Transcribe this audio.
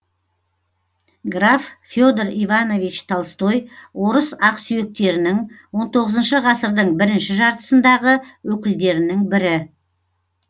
граф федор иванович толстой орыс ақсүйектерінің он тоғызыншы ғасырдың бірінші жартысындағы өкілдерінің бірі